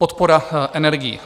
Podpora energií.